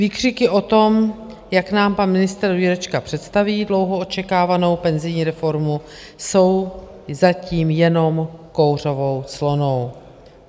Výkřiky o tom, jak nám pan ministr Jurečka představí dlouho očekávanou penzijní reformu, jsou zatím jenom kouřovou clonou.